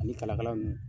Ani kalakala ninnu